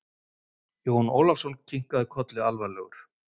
Jón Ólafsson kinkaði kolli alvarlegur.